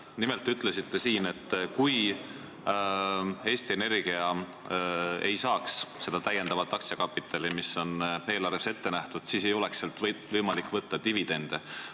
Nimelt te ütlesite, et kui Eesti Energia ei saaks seda täiendavat aktsiakapitali, mis on eelarves ette nähtud, siis ei oleks sealt võimalik võtta dividende.